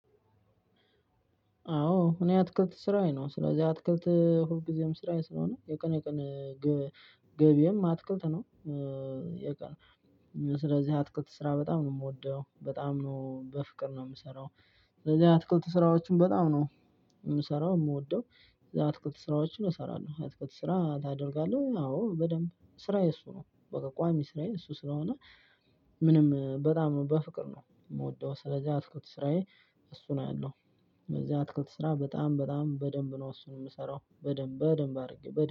አዎ እኔ አትክልት ስራዬ ነው ስለዚህ አትክልት ሁልጊዜም ስራዬ ስለሆነ የቀነ የቀነ ገቢም አትክልት ነው። የቀኑ ስለዚህ አትክልት ስራ በጣም ነው የምወደው በጣም ነው በፍቅር ነው የምሰራው። ስለዚህ አትክልት ስራዎችን በጣም ነው የምሰራው የምወደው አትክልት ስራዎችን እሰራለሁ። አትከት ስራ ታደርጋለህ አዎ በደንብ ስራዬ እሱ ነው። በቃ ቋሚ ስራዬ እሱ ስለሆነ ምንም በጣም ነው በፍቅር ነው የምወደው። ስለዚህ አትክልት ስራዬ እሱ ነው ያለው። ስለዚህ አትክልት ስራ በጣም በጣም በደንብ ነው እሱን የምሰራው በደንብ በደንብ አድርጌ